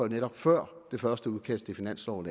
netop før det første udkast til finansloven